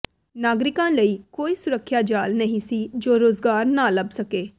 ਨਾਗਰਿਕਾਂ ਲਈ ਕੋਈ ਸੁਰੱਖਿਆ ਜਾਲ ਨਹੀਂ ਸੀ ਜੋ ਰੁਜ਼ਗਾਰ ਨਾ ਲੱਭ ਸਕੇ